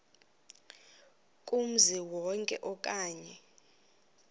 kumzi wonke okanye